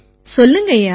சொல்லுங்கய்யா